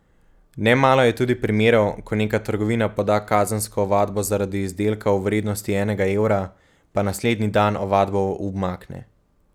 Nemalo je tudi primerov, ko neka trgovina poda kazensko ovadbo zaradi izdelka v vrednosti enega evra, pa naslednji dan ovadbo umakne.